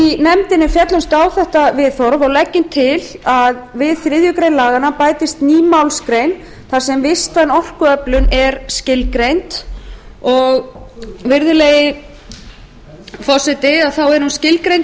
féllumst á þetta viðhorf og leggjum til að við þriðju grein laganna bætist við ný málsgrein þar sem vistvæn orkuöflun er skilgreind og virðulegi forseti þá er hún